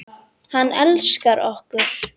Aristóteles var engin undantekning.